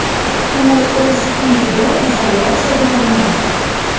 U o‘z uyida izolyatsiyaga olingan.